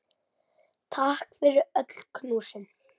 Takk fyrir öll knúsin.